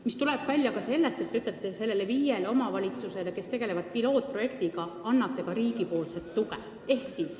See tuleb välja ka sellest, et te annate viiele omavalitsusele, kes tegelevad pilootprojektiga, riigipoolset tuge.